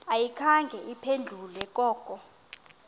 ayikhange iphendule koko